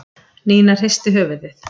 Nína hristi höfuðið.